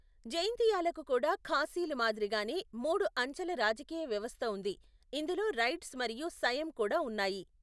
జైంతియాలకు కూడా ఖాసీల మాదిరిగానే మూడు అంచెల రాజకీయ వ్యవస్థ ఉంది, ఇందులో రైడ్స్ మరియు సైయం కూడా ఉన్నాయి.